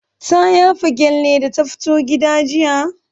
Ta yafa gyalle da ta fito gida jiya?